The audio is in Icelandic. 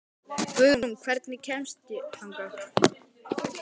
Guðrún, hvernig kemst ég þangað?